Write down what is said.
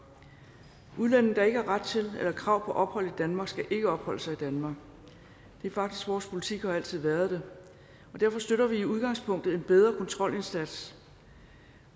udlændinge der ikke har ret til eller krav på ophold i danmark skal ikke opholde sig i danmark det er faktisk vores politik og har altid været det og derfor støtter vi i udgangspunktet en bedre kontrolindsats